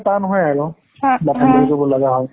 টান হয় আৰু। but, handle কৰিব লাগা হয়।